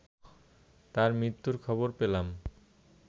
তার মৃত্যুর খবর পেলাম